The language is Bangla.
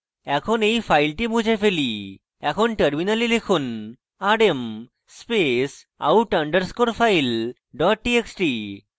এখন এই file মুছে file এখন terminal লিখুন rm space out underscore file dot txt